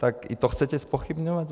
Tak i to chcete zpochybňovat?